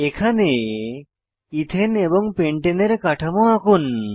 এখানে ethane ethane এবং pentane pentene এর কাঠামো আঁকুন